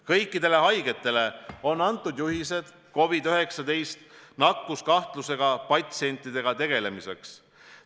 Kõikidele haiglatele on antud juhised COVID-19 nakkuskahtlusega patsientidega tegelemiseks.